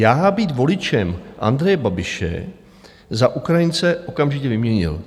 Já být voličem Andreje Babiše za Ukrajince okamžitě vyměnil.